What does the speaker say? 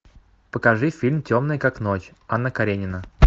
покажи фильм темный как ночь анна каренина